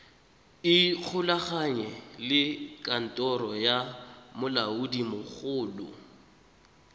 ikgolaganye le kantoro ya molaodimogolo